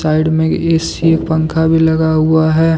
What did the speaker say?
Side में AC पंखा भी लगा हुआ है।